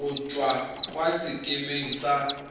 go tswa kwa sekemeng sa